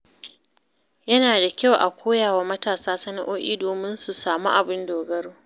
Yana da kyau a koya wa matasa sana’o’i domin su samu abin dogaro.